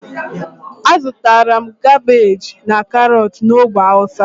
azutara m kabeji and karotu na ogbe hausa.